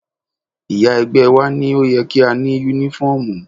Ìyá ẹgbẹ́ wá ní ó yẹ kí a ní Únífọ́ọ̀mù